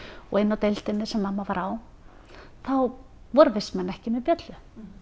og inni á deildinni sem mamma var á þá voru vistmenn ekki með bjöllu